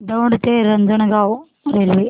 दौंड ते रांजणगाव रेल्वे